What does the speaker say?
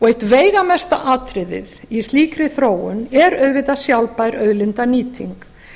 eitt veigamesta atriðið í slíkri þróun er auðvitað sjálfbær auðlindanýting